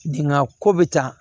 Dingan ko bɛ ta